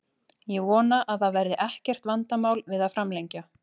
Ég vona að það verði ekkert vandamál við að framlengja.